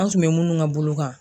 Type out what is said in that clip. An tun be munnu ka bolo kan